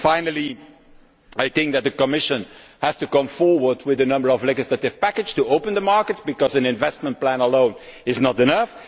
Finally, I think that the Commission has to come forward with a number of legislative packages to open up the markets, because an investment plan alone is not enough.